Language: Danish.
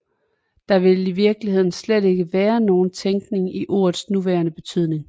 Der vil i virkeligheden slet ikke være nogen tænkning i ordets nuværende betydning